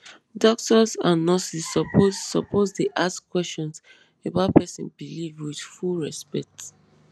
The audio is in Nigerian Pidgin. doctors and nurses suppose suppose dey ask questions about person belief with full respect